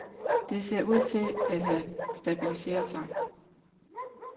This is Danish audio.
Det ser ud til at have stabiliseret sig.